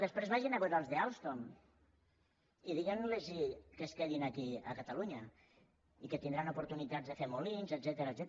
després vagin a veure els d’alstom i diguin los que es quedin aquí a catalunya i que tindran oportunitats de fer molins etcètera